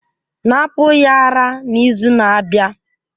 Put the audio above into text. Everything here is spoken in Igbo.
Napụ ya ara n'izu na-abịa!